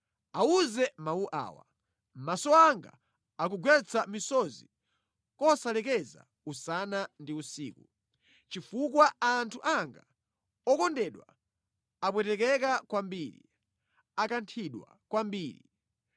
“Awuze mawu awa: “ ‘Maso anga akugwetsa misozi kosalekeza usana ndi usiku; chifukwa anthu anga okondedwa apwetekeka kwambiri, akanthidwa kwambiri.